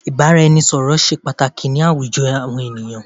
Ìbáraẹnisọ̀rọ̀ ṣé pàtàkì ni àwùjọ ènìyàn.